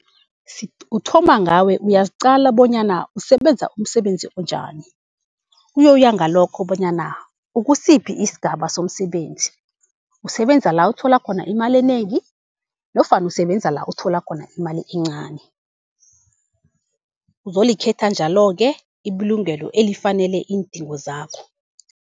Uthoma ngawe uyaziqala bonyana usebenza umsebenzi onjani. Kuyoya ngalokho bonyana ukusiphi isigaba somsebenzi, usebenza la uthola khona imali enengi nofana usebenza la uthola khona imali encani. Uzolikhetha njalo-ke ibulungelo elifanele iindingo zakho.